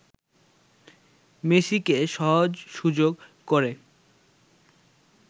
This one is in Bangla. মেসিকে সহজ সুযোগ করে